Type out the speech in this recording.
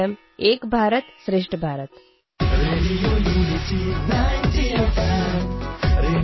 M एकभारतं श्रेष्ठभारतम् ।